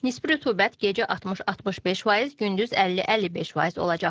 Nisbi rütubət gecə 60-65%, gündüz 50-55% olacaq.